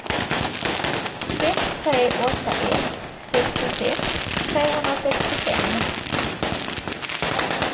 sex tre åtta ett sextiosex trehundrasextiofem